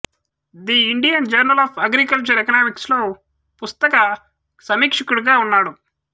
the Indian journal of agricultural economics లో పుస్తక సమీక్షకుడిగా కూడా ఉన్నాడు